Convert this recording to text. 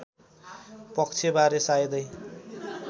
पक्षबारे सायदै